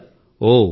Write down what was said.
అన్ని విషయాలు